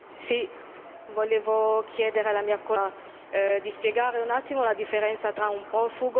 Volevo chiedere alla mia collega di spiegare un attimo la differenza tra un profugo e un migrante economico.